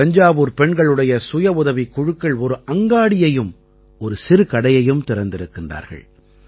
தஞ்சாவூர்ப் பெண்களுடைய சுயஉதவிக் குழுக்கள் ஒரு அங்காடியையும் ஒரு சிறுகடையையும் திறந்திருக்கிறார்கள்